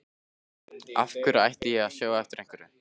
Af hverju ætti ég að sjá eftir einhverju?